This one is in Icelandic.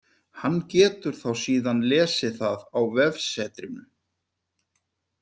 Hann getur þá síðan lesið það á vefsetrinu.